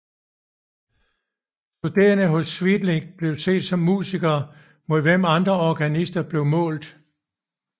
Studerende hos Sweelinck blev set som musikere mod hvem andre organister blev målt